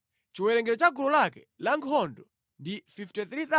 Chiwerengero cha gulu lake lankhondo ndi 53,400.